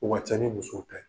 Wa cɛ ni muso bɛ